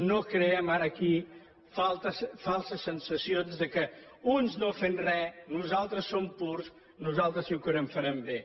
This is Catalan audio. no creem ara aquí falses sensacions que uns no fent re nosaltres som purs nosaltres si que ho farem bé